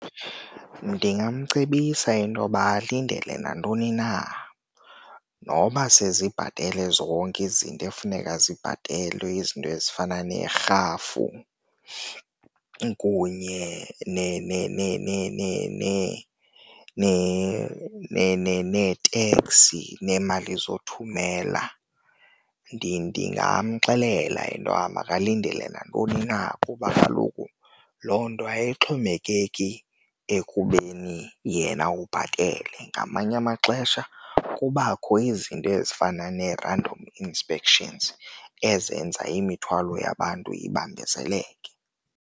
Ndingamcebisa intoba alindele nantoni na noba sezibhatele zonke izinto ekufuneka zibhatelwe, izinto ezifana neerhafu kunye neeteksi neemali zothumela. Ndingamxelela into yoba makalindele nantoni na kuba kaloku loo nto ayixhomekeki ekubeni yena ubhatele, ngamanye amaxesha kubakho izinto ezifana nee-random inspections ezenza imithwalo yabantu ibambezeleke.